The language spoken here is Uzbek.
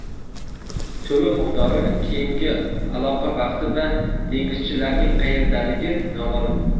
To‘lov miqdori, keyingi aloqa vaqti va dengizchilarning qayerdaligi noma’lum.